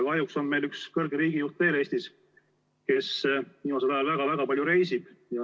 Kahjuks on meil Eestis üks kõrge riigijuht veel, kes viimasel ajal väga-väga palju reisib.